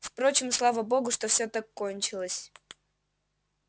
впрочем слава богу что всё так кончилось